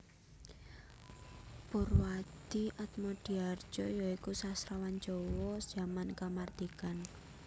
Poerwadhie Atmodhihardjo ya iku sastrawan Jawa jaman kamardikan